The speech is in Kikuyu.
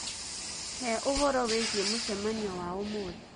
heũhoro wĩĩgĩe mucemanio waũmũthĩ